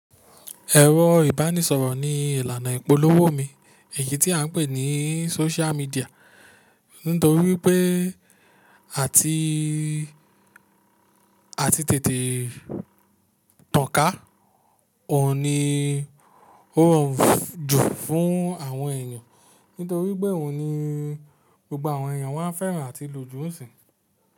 Ẹ̀rọ ìbánisọ̀rọ̀ ni ìlànà ìpolówó mi, èyí tí a ń pè ní social media. Nítorí pé àti, àti tètè tàn ká òun ni ó rọrùn jù fún àwọn èèyàn, nítorí pé òun ni gbogbo àwọn èèyàn wá ń fẹ́ràn àti lò jù n sìn-in.